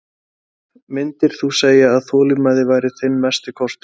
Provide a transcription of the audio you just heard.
Erla Björg: Myndir þú segja að þolinmæði væri þinn mesti kostur?